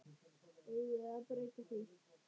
Eigum við að breyta því?